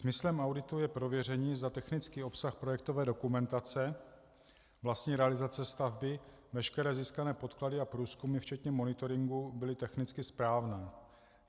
Smyslem auditu je prověření, zda technický obsah projektové dokumentace, vlastní realizace stavby, veškeré získané podklady a průzkumy včetně monitoringu byly technicky správné.